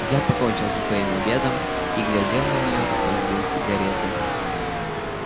я покончил со своим обедом и глядел на неё сквозь дым сигареты